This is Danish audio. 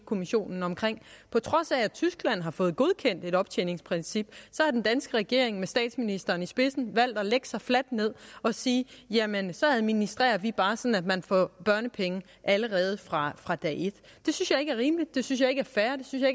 kommissionen om på trods af at tyskland har fået godkendt et optjeningsprincip har den danske regering med statsministeren i spidsen valgt at lægge sig fladt ned og sige at jamen så administrerer vi bare sådan at man får børnepenge allerede fra fra dag et det synes jeg ikke er rimeligt det synes jeg ikke er fair det synes